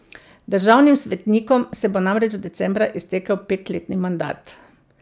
Državnim svetnikom se bo namreč decembra iztekel petletni mandat.